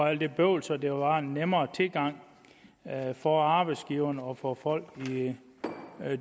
af alt det bøvl så der var en nemmere tilgang for arbejdsgiverne og for folk i